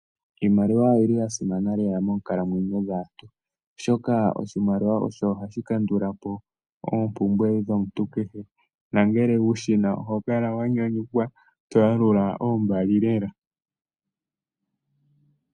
Iimaliwa oyi li ya simana lela moonkalamwenyo dhaantu, oshoka oshimaliwa osho hashi kandula po oompumbwe dhomuntu kehe, na ngele wushi na oho kala wa nyanyukwa, to yalula oombali lela.